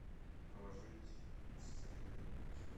положить сестре денег на счет